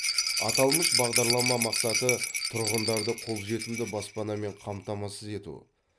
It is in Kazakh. аталмыш бағдарлама мақсаты тұрғындарды қолжетімді баспанамен қамтамасыз ету